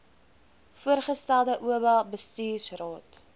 voorgestelde oba bestuursraad